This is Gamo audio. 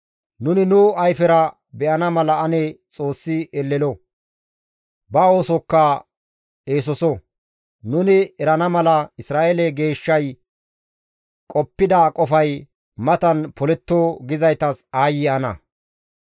«Nuni nu ayfera be7ana mala ane Xoossi elelo! Ba oosokka eesoso! Nuni erana mala Isra7eele Geeshshay qoppida qofay matan poletto» gizaytas aayye ana!